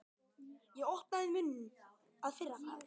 Og opnaði munninn að fyrra bragði.